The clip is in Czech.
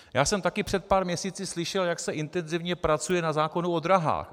Já jsem také před pár měsíci slyšel, jak se intenzivně pracuje na zákonu o dráhách.